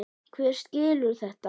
Hver skilur þetta?